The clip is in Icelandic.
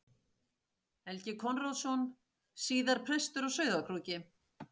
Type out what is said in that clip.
Helgi Konráðsson, síðar prestur á Sauðárkróki.